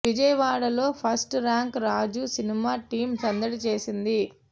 విజయవాడ లో first rank Raju సినిమా team సందడి చేసింది